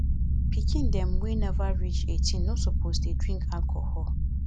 pikin dem wey nova reach 18 no suppose dey drink alcohol